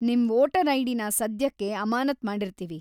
ನಿಮ್ ವೋಟರ್ ಐಡಿನ ಸದ್ಯಕ್ಕೆ ಅಮಾನತ್ ಮಾಡಿರ್ತೀವಿ.